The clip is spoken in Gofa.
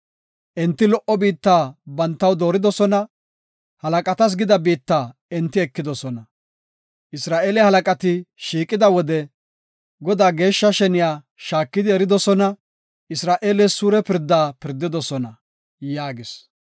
Enti lo77o biitta bantaw dooridosona; halaqatas gida biitta enti ekidosona. Isra7eele halaqati shiiqida wode, Godaa geeshsha sheniya shaakidi eridosona Isra7eeles suure pirdaa pirdidosona” yaagis.